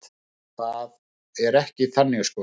Það er ekki þannig sko.